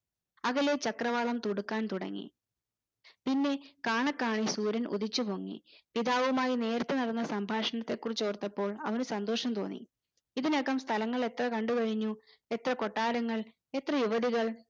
അകലെ ചക്രവാളം തുടുക്കാൻ തുടങ്ങി പിന്നെ കാണെക്കാണെ സൂര്യൻ ഉദിച്ചു പൊങ്ങി പിതാവുമായി നേരിട്ടു നടന്ന സംഭാഷണത്തെ കുറിച്ചോർത്തപ്പോൾ അവന് സന്തോഷം തോന്നി ഇതിനകം സ്ഥലങ്ങൾ എത്ര കണ്ടുകഴിഞ്ഞു എത്ര കൊട്ടാരങ്ങൾ എത്ര യുവതികൾ